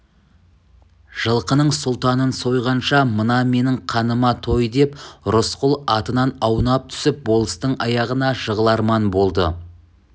жылқының сұлтанын сойғанша мына менің қаныма той деп рысқұл атынан аунап түсіп болыстың аяғына жығыларман болды